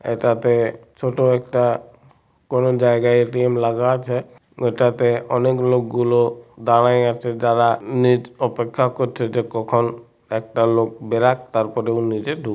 এটাতেছোট একটা কোন জায়গায় এ.টি.এম. লাগা আছে ওটাতেঅনেক লোক গুলো দাঁড়িয়ে আছে যারা নিট অপেক্ষা করছে যে কখন একটা লোক বেরোক তারপরে ও নিজে ঢুক --